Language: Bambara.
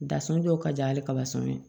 Dasɔn dɔw ka jan hali kaba sɔn ye